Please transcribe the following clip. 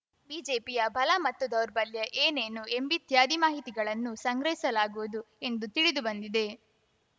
ಬಿಜೆಪಿಯ ಬಲ ಮತ್ತು ದೌರ್ಬಲ್ಯ ಏನೇನು ಎಂಬಿತ್ಯಾದಿ ಮಾಹಿತಿಗಳನ್ನು ಸಂಗ್ರಹಿಸಲಾಗುವುದು ಎಂದು ತಿಳಿದು ಬಂದಿದೆ